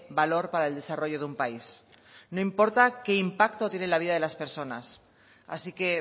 valor para el desarrollo de un país no importa qué impacto tiene en la vida de las personas así que